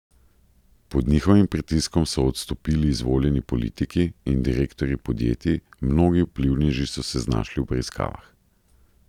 Pod njihovim pritiskom so odstopili izvoljeni politiki in direktorji podjetij, mnogi vplivneži so se znašli v preiskavah.